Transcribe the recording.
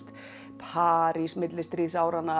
París millistríðsáranna